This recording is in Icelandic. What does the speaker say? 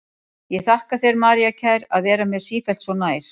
Ég þakka þér, María kær, að vera mér sífellt svo nær.